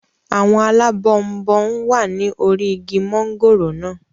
Àwọn alábọnbon wà ní orí igi mọ́ngòrò naa